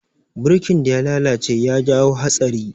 Burkin da ya lalace ya jawo hatsari.